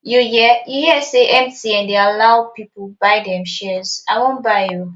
you hear you hear say mtn dey allow people buy dem shares i wan buy oo